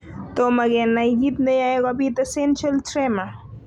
Tomokenai kiit neyaei kobit essential tremor.